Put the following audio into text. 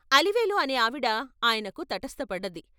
అలివేలు అనే ఆవిడ ఆయనకు తటస్థపడ్డది.